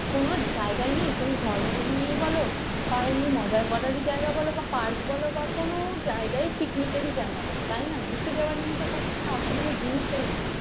কোন জায়গা নেই তুমি ধর্মের নিয়ে বলো যে বা জায়গায় বলো বা পার্ক বল কোন জায়গায় পিকনিকের জায়গা ঘুরতে যাওয়া নিয়ে তো অসুবিধা জিনিসটাই নেই।